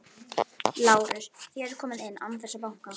LÁRUS: Þér komið inn án þess að banka.